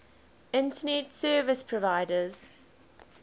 internet service providers